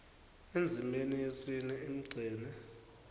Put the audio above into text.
endzimeni yesine emgceni